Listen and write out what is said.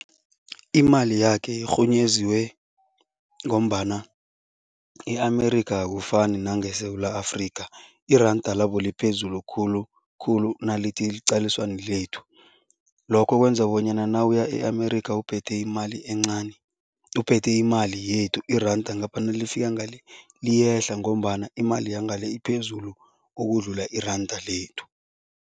Imali yakhe irhunyeziwe ngombana e-America akufani nange-Sewula Afrika, iranda labo liphezulu khulukhulu nalithi liqaliswa nelethu. Lokho kwenza bonyana nawuya e-America uphethe imali encani, uphethe imali yethu iranda ngapha nalifika ngale liyehla ngombana imali yangale iphezulu ukudlula iranda lethu.